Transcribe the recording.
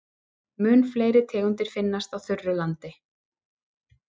Mun fleiri tegundir finnast á þurru landi.